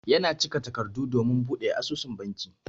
Ya na cika takardu domin buɗe asusun banki.